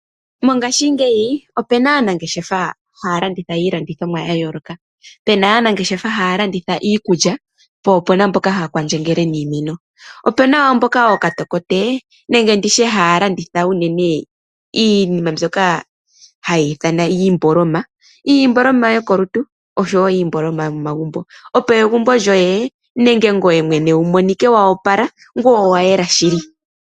Mongashingeyi opuna aanangeshefa haya landitha iinima ya yoolokathana ngaashi iikulya, iikutu , iihape no sho woo .